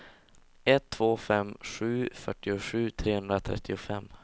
ett två fem sju fyrtiosju trehundratrettiofem